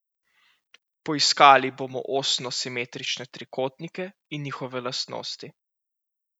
Poiskali bomo osno simetrične trikotnike in njihove lastnosti.